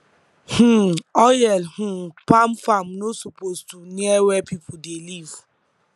um oil um palm farm no suppose to near where people dey live